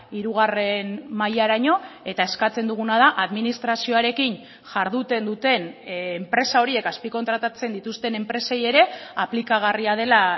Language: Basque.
hirugarren mailaraino eta eskatzen duguna da administrazioarekin jarduten duten enpresa horiek azpikontratatzen dituzten enpresei ere aplikagarria dela